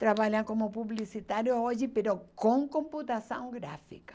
Trabalha como publicitário hoje, com computação gráfica.